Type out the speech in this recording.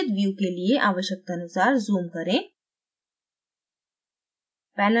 उचित view के लिए आवश्यकतानुसार zoom करें